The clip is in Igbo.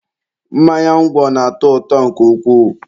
mmanya ngwọ na-atọ ụtọ nke ukwuu